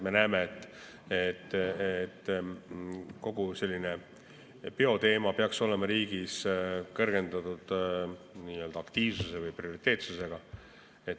Me näeme, et kogu bioteema peaks olema riigis prioriteetne, kõrgendatud aktiivsusega.